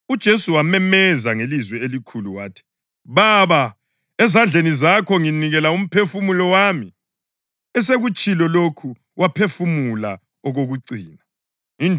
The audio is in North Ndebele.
UJesu wamemeza ngelizwi elikhulu wathi, “Baba, ezandleni zakho nginikela umphefumulo wami.” Esekutshilo lokhu waphefumula okokucina.